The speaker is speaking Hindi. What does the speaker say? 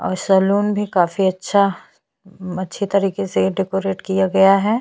अ सैलून भी काफी अच्छा अच्छी तरिके से डेकोरेट किया गया है।